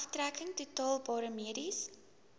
aftrekking toelaatbare mediese